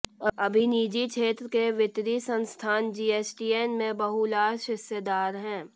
अभी निजी क्षेत्र के वित्तीय संस्थान जीएसटीएन में बहुलांश हिस्सेदार हैं